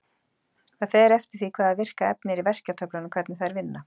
Það fer eftir því hvaða virka efni er í verkjatöflunum hvernig þær vinna.